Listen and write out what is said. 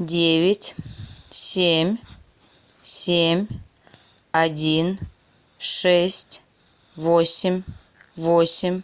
девять семь семь один шесть восемь восемь